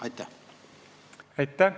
Aitäh!